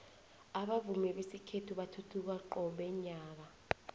abavumi besikhethu bathuthuka qobe nyaka